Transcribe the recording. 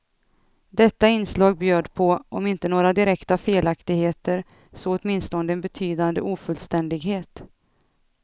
Detta inslag bjöd på, om inte några direkta felaktigheter, så åtminstone en betydande ofullständighet.